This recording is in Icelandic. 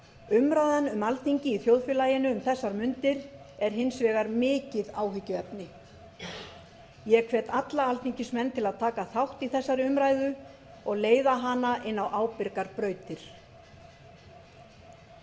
umræðan um alþingi í þjóðfélaginu um þessar mundir er hins vegar mikið áhyggjuefni ég hvet alla alþingismenn til að taka þátt í þessari umræðu og leiða hana inn á ábyrgar brautir